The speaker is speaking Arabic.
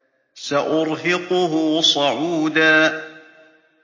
سَأُرْهِقُهُ صَعُودًا